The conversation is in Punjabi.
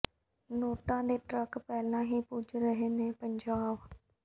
ਨੋਟਾਂ ਦੇ ਟਰੱਕ ਪਹਿਲਾਂ ਹੀ ਪੁੱਜ ਰਹੇ ਨੇ ਪੰਜਾਬ